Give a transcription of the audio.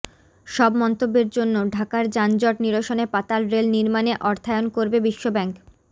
সব মন্তব্যের জন্য ঢাকার যানজট নিরসনে পাতাল রেল নির্মাণে অর্থায়ন করবে বিশ্বব্যাংক